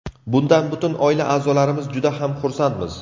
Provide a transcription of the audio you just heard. Bundan butun oila a’zolarimiz juda ham xursandmiz”.